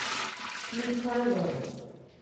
михайлова